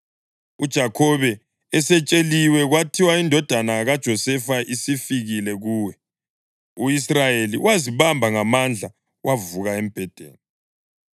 UJakhobe esetsheliwe kwathiwa, “Indodana yakho uJosefa isifikile kuwe,” u-Israyeli wazibamba ngamandla wavuka embhedeni.